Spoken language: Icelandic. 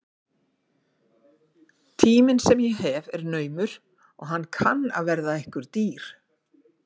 Tíminn sem ég hef er naumur og hann kann að verða ykkur dýr.